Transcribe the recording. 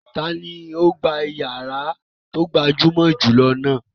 Ta ni ó gba ìyàrá tó gbajúmọ̀ jù lọ náà?